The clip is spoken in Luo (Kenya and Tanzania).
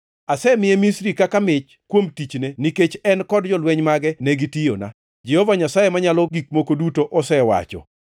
Asemiye Misri kaka mich kuom tichne, nikech en kod jolweny mage ne gitiyona, Jehova Nyasaye Manyalo Gik Moko Duto osewacho.